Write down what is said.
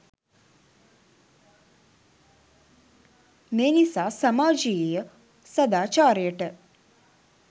මේ නිසා සමාජයීය සදාචාරයට